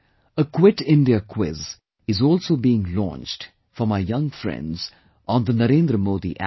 A Quit India Quiz is also being launched for my young friends on NarendraModiApp